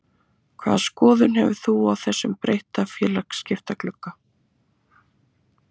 Hvaða skoðun hefurðu á þessum breytta félagaskiptaglugga?